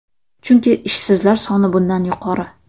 Chunki ishsizlar soni bundan yuqori.